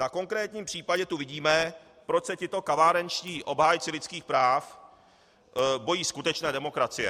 Na konkrétním případě tu vidíme, proč se tito kavárenští obhájci lidských práv bojí skutečné demokracie.